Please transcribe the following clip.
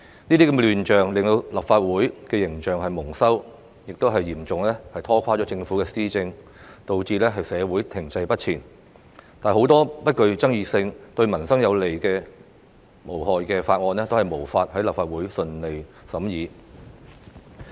這些亂象令立法會形象蒙羞，亦嚴重拖垮政府施政，導致社會停滯不前，很多不具爭議性、對民生有利無害的法案也無法在立法會順利審議。